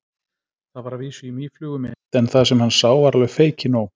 Það var að vísu í mýflugumynd en það sem hann sá var alveg feikinóg.